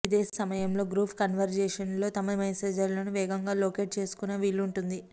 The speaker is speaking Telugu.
ఇదే సమయంలో గ్రూప్ కన్వర్జేషన్లోని తమ మేసేజ్లను వేగంగా లొకేట్ చేసుకునే వీలుంటుంది